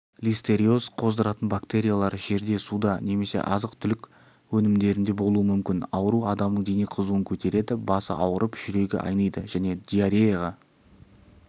листериоз қоздыратын бактериалар жерде суда немесе азық-түлік өнімдерінде болуы мүмкін ауру адамның дене қызуын көтереді басы ауырып жүрегі айныйды және диареяға